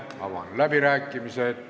Avan läbirääkimised.